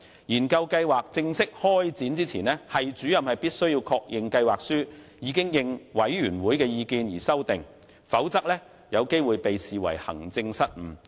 研究計劃正式開展前，系主任須確認計劃書已應委員會的意見作出修訂，否則有機會被視為行政失誤。